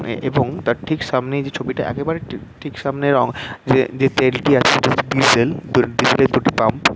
এবং তার ঠিক সামনে যেই ছবিটা একেবারে ঠিকসামনে যে যে তেলটি আছে সেটি হচ্ছে ডিজেল । ডিজেল এর দুটি পাম্প ।